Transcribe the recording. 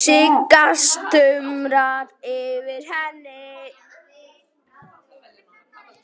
Sigga stumrar yfir henni.